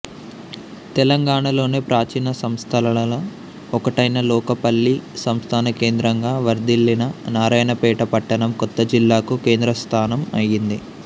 తెలంగాణలోనే ప్రాచీన సంస్థానాలలో ఒకటైన లోకపల్లి సంస్థానకేంద్రంగా వర్థిల్లిన నారాయణపేట పట్టణం కొత్త జిల్లాకు కేంద్రస్థానం అయింది